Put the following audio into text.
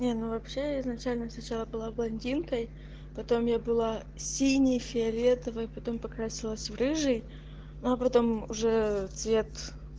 не ну вообще изначально сначала была блондинкой потом я была синей фиолетовой потом покрасилась в рыжий но потом уже цвет